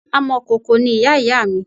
Amọ̀kòkò ni ìyá ìyá mi